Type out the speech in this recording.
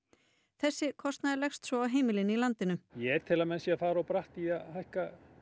þessi kostnaður leggst svo á heimilin í landinu ég tel að menn séu að fara of bratt í að hækka